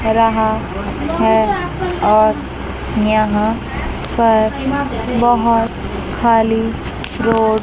रहा है और यहां पर बहोत खाली रोड --